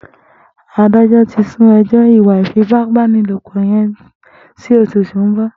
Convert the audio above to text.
Àdájọ̀ ti sùn ẹjọ ìwà ifipábánilópọ̀ yèn si óṣú tó n bọ